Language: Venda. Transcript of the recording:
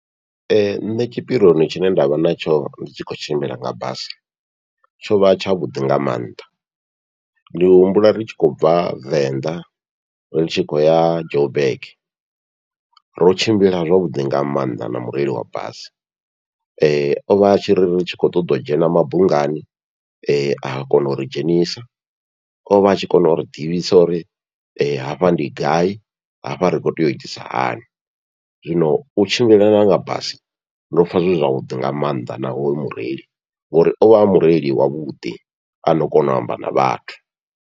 Nṋe tshipirioni tshine ndavha natsho ndi tshi khou tshimbila nga basi, tshovha tshavhuḓi nga maanḓa ndi humbula ri tshi khou bva Venḓa ri tshi khou ya Joburg, ro tshimbila zwavhuḓi nga maanḓa na mureili wa basi ovha atshiri ri tshi khou ṱoḓa u dzhena mabungani, a kona uri dzhenisa. Ovha a tshi kona uri ḓivhisa uri hafha ndi gai hafha ri kho tea u itisa hani, zwino u tshimbila nga basi ndo pfha zwi zwavhuḓi nga maanḓa na hoyo mureili, ngori ovha a mureili wavhuḓi ano kona u amba na vhathu.